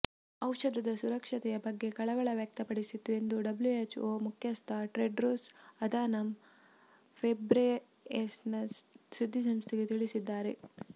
ಔಷಧದ ಸುರಕ್ಷತೆಯ ಬಗ್ಗೆ ಕಳವಳ ವ್ಯಕ್ತಪಡಿಸಿತ್ತು ಎಂದು ಡಬ್ಲ್ಯುಎಚ್ಒ ಮುಖ್ಯಸ್ಥ ಟೆಡ್ರೊಸ್ ಅಧಾನಮ್ ಘೆಬ್ರೆಯೆಸಸ್ ಸುದ್ದಿಸಂಸ್ಥೆಗೆ ತಿಳಿಸಿದ್ದಾರೆ